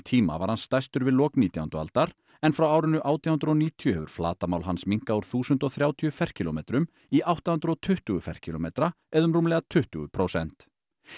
tíma var hann stærstur við lok nítjándu aldar en frá árinu átján hundruð og níutíu hefur flatarmál hans minnkað úr þúsund og þrjátíu ferkílómetrum í átta hundruð og tuttugu ferkílómetra eða um rúmlega tuttugu prósent